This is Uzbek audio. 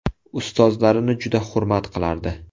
Ustozlarini juda hurmat qilardi.